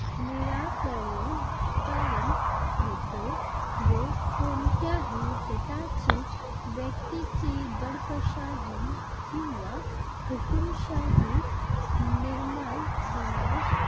निराकरण होते व कोणत्याही गटाची व्यक्तीची दडपशाही किंवा हुकूमशाही निर्माण होण्यास